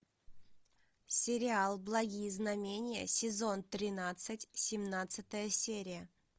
сериал благие знамения сезон тринадцать семнадцатая серия